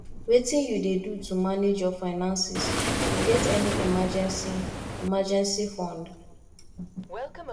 wetin you dey do to manage your finances you get any emergency emergency fund